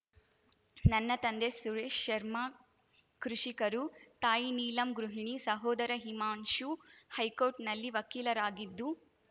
ನನ್ನ ತಂದೆ ಸುರೇಶ್‌ ಶರ್ಮಾ ಕೃಷಿಕರು ತಾಯಿ ನೀಲಮ್‌ ಗೃಹಿಣಿ ಸಹೋದರ ಹಿಮಾಂಶು ಹೈಕೋರ್ಟ್‌ನಲ್ಲಿ ವಕೀಲರಾಗಿದ್ದು